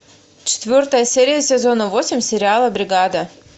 четвертая серия сезона восемь сериала бригада